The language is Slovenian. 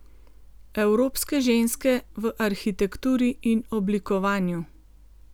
Evropske ženske v arhitekturi in oblikovanju.